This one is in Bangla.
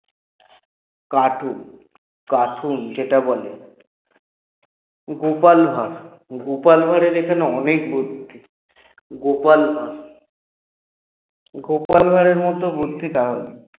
cartoon cartoon যেটা বলে গোপাল ভাড় গোপাল ভাড়ের এখানে অনেক বুদ্ধি গোপাল ভাড় গোপাল ভাড়ের মত বুদ্ধি কারো নেই